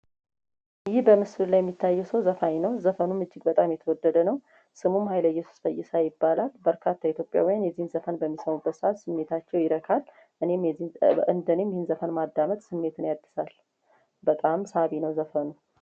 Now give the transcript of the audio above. በምስል ላይ የሚታይ ሰው ዘፋኝ ነው ዘፈኑም እጅግ በጣም የተወደደ ነው ስሙ ኃይለየሱስ ይባላል በርካታ የኢትዮጵያ ዘፈን በሚሰበሰ ይረካል እኔም የዚህ ዘፈን ማዳመጥ ስሜትን ያድሳል በጣም ሳቢ ነው ዘፈኑ።